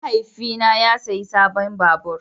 Mahaifina ya sayi sabon babur.